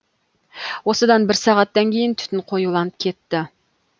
осыдан бір сағаттан кейін түтін қоюланып кетті